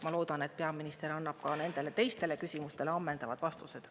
Ma loodan, et peaminister annab ka nendele teistele küsimustele ammendavad vastused.